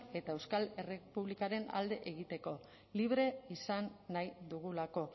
eta euskal errepublikaren alde egiteko libre izan nahi dugulako